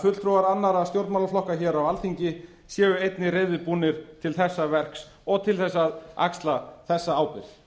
fulltrúar annarra stjórnmálaflokka hér á alþingi ber einnig reiðubúnir til þessa verks og til þess að axla þessa ábyrgð